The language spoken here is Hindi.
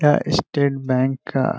यह स्टेट बैंक का --